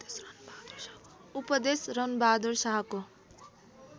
उपदेश रणबहादुर शाहको